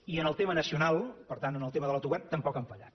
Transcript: i en el tema nacional per tant en el tema de l’autogovern tampoc no han fallat